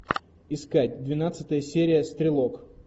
искать двенадцатая серия стрелок